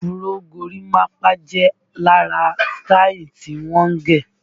Afuró, gorímapá jẹ lára sítáì tí wọ́n ń gẹ̀